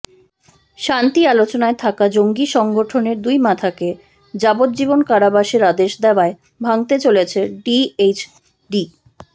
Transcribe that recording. শান্তি আলোচনায় থাকা জঙ্গি সংগঠনের দুই মাথাকে যাবজ্জীবন কারাবাসের আদেশ দেওয়ায় ভাঙতে চলেছে ডিএইচডি